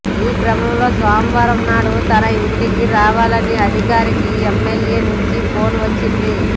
ఈ క్రమంలో సోమవారం నాడు తన ఇంటికి రావాలని అధికారికి ఎమ్మెల్యే నుంచి ఫోన్ వచ్చింది